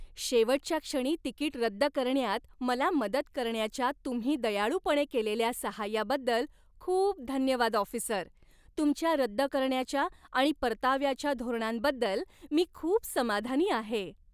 शेवटच्या क्षणी तिकीट रद्द करण्यात मला मदत करण्याच्या तुम्ही दयाळूपणे केलेल्या सहाय्याबद्दल खूप धन्यवाद ऑफिसर, तुमच्या रद्द करण्याच्या आणि परताव्याच्या धोरणांबद्दल मी खूप समाधानी आहे.